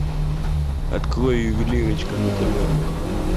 открой ювелирочка на тв